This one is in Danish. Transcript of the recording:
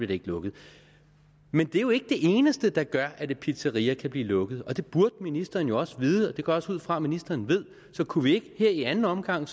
det ikke lukket men det er jo ikke det eneste der gør at et pizzeria kan blive lukket det burde ministeren jo også vide og det går jeg også ud fra at ministeren ved så kunne vi ikke her i anden omgang